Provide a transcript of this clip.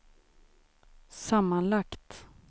sammanlagt